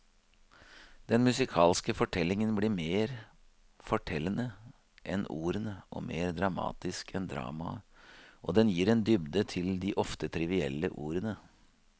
Den musikalske fortellingen blir mer fortellende enn ordene og mer dramatisk enn dramaet, og den gir en dybde til de ofte trivielle ordene.